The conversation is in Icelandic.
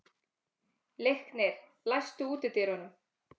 Leiknir, læstu útidyrunum.